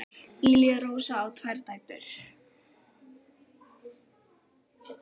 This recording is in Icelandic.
Lilja Rósa á tvær dætur.